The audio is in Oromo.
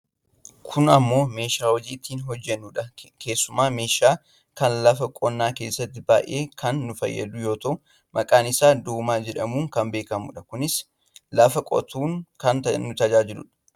Kun ammoo meeshaa hojii ittiin hojjannudha. Keessumaa meeshaa kana lafa qonnaa keessatti baayyee kan nu fayyadu yoo ta'u maqaan isaa doomaa jedhamuun kan beekamudha. Kunis lafa qotuun kan nu tajaajiludha.